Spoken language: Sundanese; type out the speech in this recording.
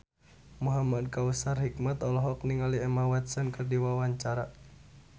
Muhamad Kautsar Hikmat olohok ningali Emma Watson keur diwawancara